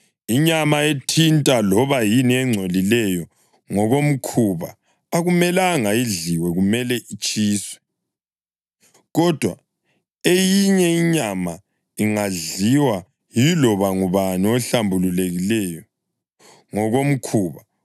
Inyama ethinta loba yini engcolileyo ngokomkhuba akumelanga idliwe; kumele itshiswe. Kodwa eyinye inyama ingadliwa yiloba ngubani ohlambulukileyo ngokomkhuba.